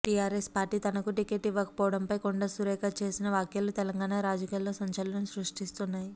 TRS party తనకు ticket ఇవ్వకపోవడంపై కొండా సురేఖ చేసిన వ్యాఖ్యలు తెలంగాణ రాజకీయాల్లో సంచలనం సృష్టిస్తున్నాయి